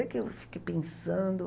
Aí que eu fiquei pensando.